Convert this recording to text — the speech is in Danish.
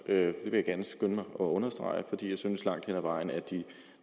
det vil jeg gerne skynde mig at understrege fordi jeg synes langt hen ad vejen at de